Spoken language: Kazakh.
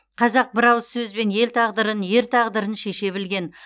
қазақ бір ауыз сөзбен ел тағдырын ер тағдырын шеше білген